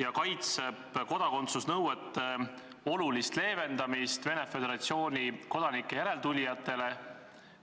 ja kaitseb kodakondsusnõuete olulist leevendamist Venemaa Föderatsiooni kodanike järeltulijate puhul!